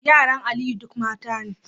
Yaran Aliyu duk mata ne